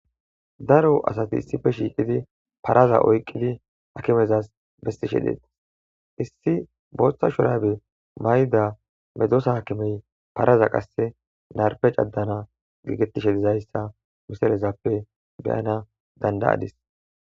Daro asati issipe shiqid paraza oyiqid hakimezas besishe detes. Issi botha shurabe mayida medosa hakimey paraza qase narife cadana gigetishe dizayisa miselazape be7anas dandayadis.